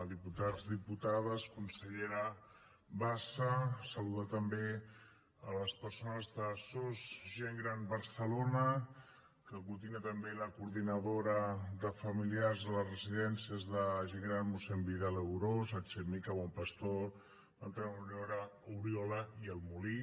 diputats diputades consellera bassa saludar també les persones de sos gent gran barcelona que aglutina també la coordinadora de familiars de les residències de gent gran mossèn vidal i aunós alchemika bon pastor bertran oriola i molí